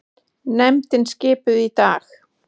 Nefndin skipuð í dag